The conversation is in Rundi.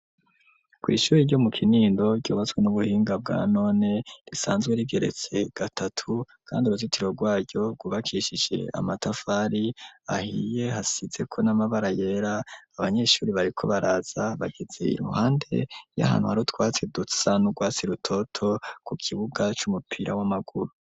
Kw'ishuri ryo mu Kinindo ryubatswe n'ubuhinga bwa none, risanzwe rigeretse gatatu, kandi uruzitiro rwaryo rwubakishije amatafari ahiye, hasizeko n'amabara yera; abanyeshuri bariko baraza, bageze iruhande y'ahantu hari utwatsi dusa n'urwatsi rutoto, ku kibuga c'umupira w'amaguru.